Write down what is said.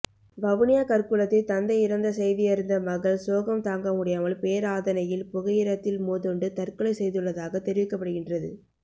வவுனியா கற்குளத்தில் தந்தை இறந்த செய்தியறிந்த மகள் சோகம் தாங்க முடியாமல் பேராதனையில் புகையிரத்தில் மோதுண்டு தற்கொலை செய்துள்ளதாக தெரிவிக்கப்படுகின்றது